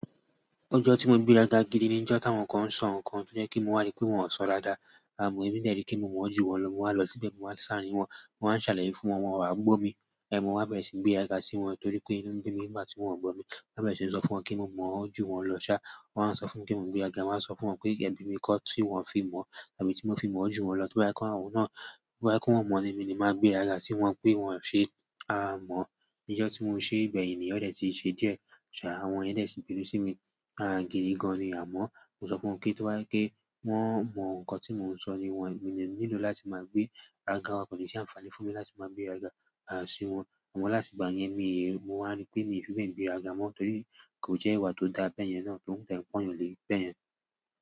Ọjọ́ tí mo gbéràga gidi ni ọjọ́ táwọn kan ń sọ nǹkan tó jẹ́ kí mo rí pé wọn ò ṣọ dáada. Àmọ̀ èmi dẹ́ ri kí mo mọ jú wọn lọ, mo wá lọ síbẹ̀, mo wá lo sàárín wọn, mo wá ń ṣàlàyé fún wọn, wọ́n wàá gbó mi. Mo wa béèrè si ni gberaga sí wọn tori pe sí wọn torí pé inú bí mi máa tí wọn gbọ́ mi. Wọ́n á bẹ̀rẹ̀ sí ń sọ fún wọn kí gbogbo o jú wọn lọ́ṣà. Wọn á sọ fún mi pe mo n gbéràga, mo wa sọ fún wọn pé ebí mi kọ́ tí wọ́n fi mọ̀ àbí tí mo fi mọ jú wọn lọ́, to bá je pe àwọn náà, to bá je pe wọn mọ̀ mi ni ni máa gbéràga sí wọn pé wọ́n ṣe á mọ̀. Ijọ́ tí mo ṣe gbeyin niyen ọ̀ dẹ́ ti ṣe díẹ̀. Ṣàa, àwọn yen de sì ń binu sí mi. À gidi gan ni amọ̀. Mo sọ fún wọn pé to bá jẹ́ pe wọ́n mọ nǹkan tí mò ń sọ ní wọn, mi o nílò láti máa gbé àga. Kò ní ṣe àǹfààní fún mi láti máa gbéràga sí wọn. Àmọ́ láti ìgbà yẹn, mi, mo máa wa rí pé mi n fi bẹe gbéràga mọ́ torí kò jẹ́ ìwà tó dáa bẹ́yẹn náà tó de n pon yan le bẹ́yẹn.